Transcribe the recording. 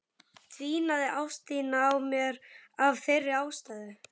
Dvínaði ást þín á mér af þeirri ástæðu?